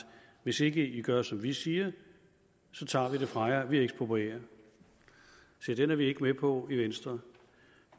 hvis ikke i gør som vi siger tager vi det fra jer eksproprierer vi se den er vi ikke med på i venstre